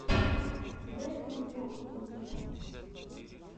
бретман рок ютюб